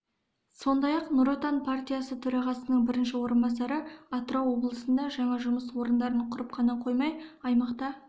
сондай-ақ нұр отан партиясы төрағасының бірінші орынбасары атырау облысында жаңа жұмыс орындарын құрып қана қоймай аймақта